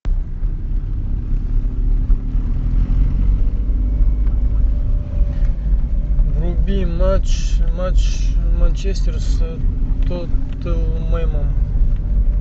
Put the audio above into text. вруби матч матч манчестер с тоттенхэмом